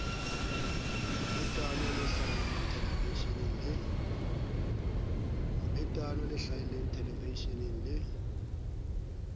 mobetano le hlahellang thelevisheneng le